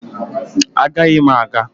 Agaghị m aga